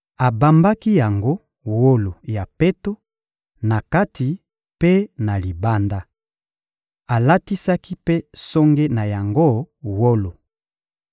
Abambaki yango wolo ya peto, na kati mpe na libanda. Alatisaki mpe songe na yango wolo.